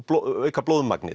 auka